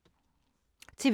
TV 2